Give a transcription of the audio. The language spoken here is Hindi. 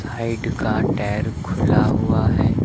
साइड का टायर खुला हुआ है।